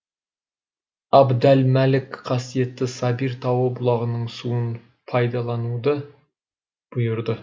абд әл мәлік қасиетті сабир тауы бұлағының суын пайдалануды бұйырды